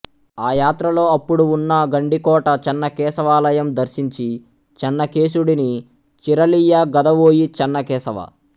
అ యాత్రలో అప్పుడు వున్న గండికోట చెన్నకేశవాలయం దర్శించి చెన్నకేశుడిని చీరలియ్యగదవోయి చెన్నకేశవా